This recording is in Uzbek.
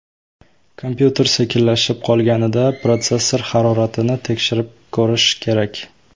Kompyuter sekinlashib qolganida protsessor haroratini tekshirib ko‘rish kerak.